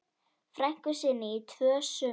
frænku sinni í tvö sumur.